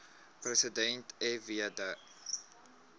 president fw de